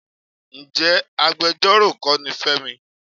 Ǹjẹ́ agbejọ́rò kọ́ ni Fẹ́mi?